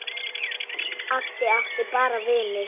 Addi átti bara vini.